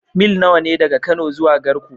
Mil nawa ne daga Kano zuwa Garko?